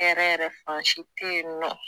Hɛrɛ yɛrɛ fansi teyinɔ.